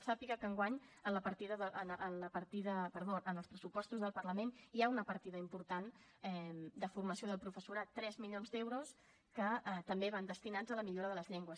sàpiga que enguany en els pressupostos del parlament hi ha una partida important de formació del professorat tres milions d’euros que també van destinats a la millora de les llengües